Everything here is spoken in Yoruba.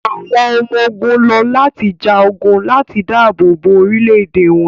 àwọn ọmọ-ogun lọ lati ja ogun lati daabobo orilẹ-ede wọn